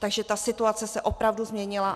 Takže ta situace se opravdu změnila.